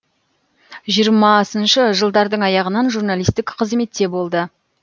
жиырмасыншы жылдардың аяғынан журналистік қызметте болды